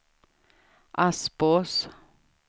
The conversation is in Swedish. Aspås